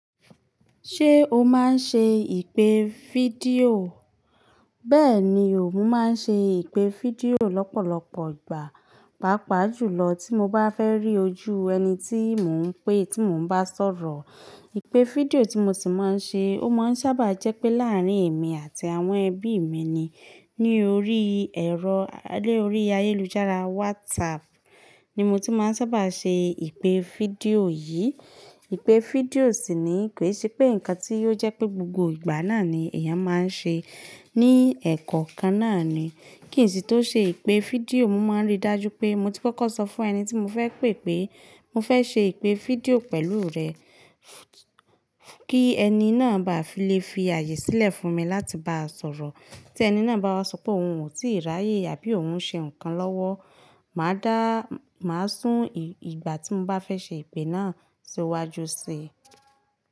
Ṣé o máa ń ṣe ìpè fídíò? Bẹ́ẹ̀ni o, mo máa ń ṣe ìpè fídíò lọ́pọ̀lọpọ̀ ìgbà, pàápàá jùlọ tí mo bá fẹ́ rí ojú ẹni tí mò ń pè tí mò ń bá sọ̀rọ̀. Ìpè fídíò tí mo sì máa ń ṣe, ó máa ń sábà jẹ́ pé láàárín èmi àti àwọn ẹbí mi ni. Ní orí ẹ̀rọ-- lórí ayélujára, WhatsApp ni mo ti máa ń sábà ṣe ìpè fídíò yìí. Ìpè fídíò sì ni kè, ṣe pé nǹkan tí yóò jẹ́ pé gbogbo ìgbà náà ni èèyàn máa ń ṣe ní ẹ̀kọ́ kan náà ni. Kìí ṣi tó ṣe ìpè fídíò, mo máa ń rí dájú pé mo ti kókó sọ fún ẹni tí mo fẹ́ pè pé mo fẹ́ ṣe ìpè fídíò pẹ̀lú rẹ, kí ẹni náà bá fi lè fi àyè sílẹ̀ fún mi láti bá sọ̀rọ̀. Tẹni náà bá wá sọ pé òun ò tíì ráyè àbí òun ń ṣe nǹkan lọ́wọ́, màá dá, màá sún ìgbà tí mo bá fẹ́ ṣe ìpè náà sí iwájú sí i.